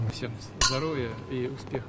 Hamıya sağlamlıq və uğurlar arzulayıram.